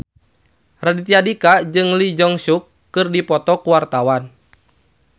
Raditya Dika jeung Lee Jeong Suk keur dipoto ku wartawan